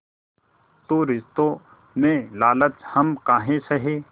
तो रिश्तों में लालच हम काहे सहे